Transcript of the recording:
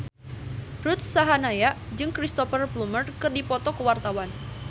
Ruth Sahanaya jeung Cristhoper Plumer keur dipoto ku wartawan